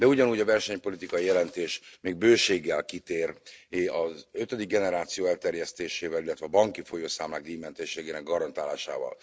De ugyanúgy a versenypolitikai jelentés még bőséggel kitér az ötödik generáció elterjesztésével, illetve a banki folyószámlák díjmentességének garantálásával.